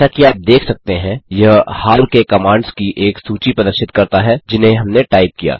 जैसा कि आप देख सकते हैं यह हाल के कमांड्स की एक सूची प्रदर्शित करता है जिन्हें हमने टाइप किया